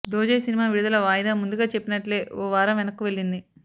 Dochey cinema విడుదల వాయిదా ముందుగా చెప్పినట్లే ఓ వారం వెనక్కు వెళ్లింది